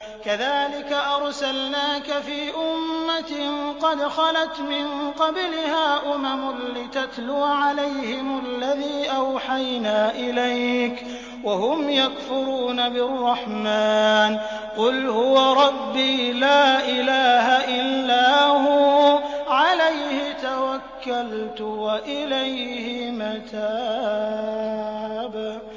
كَذَٰلِكَ أَرْسَلْنَاكَ فِي أُمَّةٍ قَدْ خَلَتْ مِن قَبْلِهَا أُمَمٌ لِّتَتْلُوَ عَلَيْهِمُ الَّذِي أَوْحَيْنَا إِلَيْكَ وَهُمْ يَكْفُرُونَ بِالرَّحْمَٰنِ ۚ قُلْ هُوَ رَبِّي لَا إِلَٰهَ إِلَّا هُوَ عَلَيْهِ تَوَكَّلْتُ وَإِلَيْهِ مَتَابِ